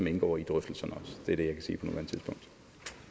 indgår i drøftelserne det er det jeg kan sige